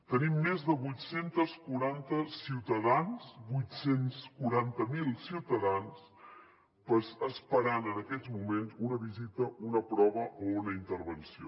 tenim més de vuit cents i quaranta miler ciutadans esperant en aquests moments una visita una prova o una intervenció